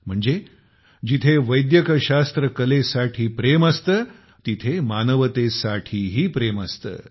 म्हणजे जिथे art of medicine साठी प्रेम असते तिथे मानवतेसाठीही प्रेम असते